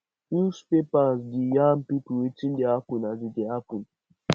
newspaper dey yarn pipo wetin dey happen as e dey happen